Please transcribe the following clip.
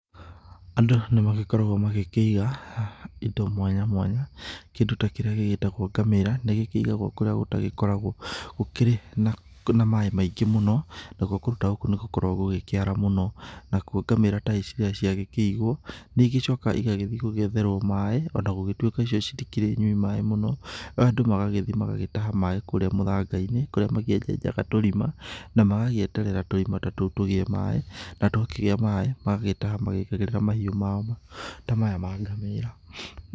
Andũ nĩ magĩkoragwo magĩkĩiga indo mwanya mwanya, kĩndũ ta kĩrĩa gĩgĩtagwo ngamĩra nĩ gĩkĩigagwo kũrĩa gũtagĩkoragwo gũkĩrĩ na maĩ maingĩ mũno, nakuo kũndũ ta gũkũ nĩ gũkoragwo gũkĩara mũno, nacio ngamĩra ta ici rĩrĩa ciagĩkĩigwo, nĩ igĩcokaga igagĩthiĩ gũgĩetherwo maĩ ona gũgĩtuĩka cio citikĩrĩ nyui maĩ mũno, andũ magagĩthiĩ magagĩtaha maĩ kũrĩa mũthanga-inĩ, kũrĩa makĩenjejaga tũrima na magagĩeterera tũrima ta tũtũ tũgĩe maĩ na twakĩgĩa maĩ, magagĩtaha magĩgĩkagĩrĩra mahiũ maya mao ta maya ma ngamĩra.